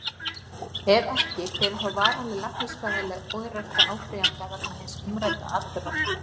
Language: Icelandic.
Ef ekki, hver er þá varanleg læknisfræðileg örorka áfrýjanda vegna hins umrædda atburðar?